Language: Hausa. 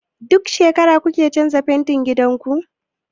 Duk shekara kuke canza fentin gidan ku?